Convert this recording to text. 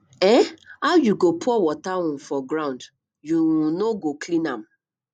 um how you go pour water um for ground you um no go clean am